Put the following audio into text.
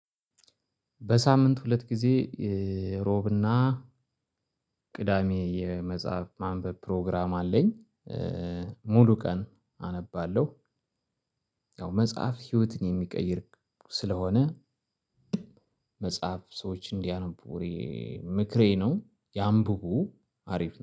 በሳምንት ሁለት ጊዜ እሮብና ቅዳሜ የመጽሐፍ ማንበብ ፕሮግራም አለኝ ሙሉ ቀን አነባለሁ ያው መጽሐፍ ህይወትን የሚቀይር ስለሆነ መጽሐፍ ሰዎች እንዲያነቡ እኔ ምክሬ ነው ያምብቡ አሪፍ ነው።